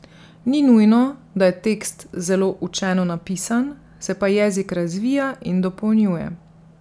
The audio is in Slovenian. Ni nujno, da je tekst zelo učeno napisan, se pa jezik razvija in dopolnjuje.